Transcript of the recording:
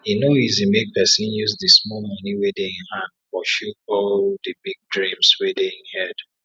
e no easi make pesin use d small moni wey dey e hand pursue all d big dreams wey dey e head